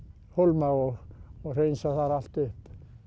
hólma og og hreinsa þar allt upp